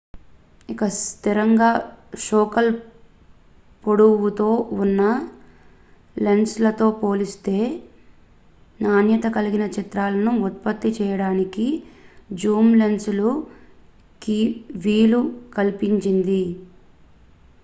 ఇది స్థిరంగా ఫోకల్ పొడవుతో ఉన్న లెన్సులతో పోల్చితే నాణ్యత కలిగిన చిత్రాలను ఉత్పత్తి చేయడానికి జూమ్ లెన్సులు కి వీలు కల్పించింది